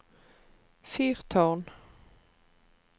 fyrtårn